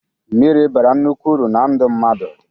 Mmiri bara nnukwu uru na ndụ mmadụ.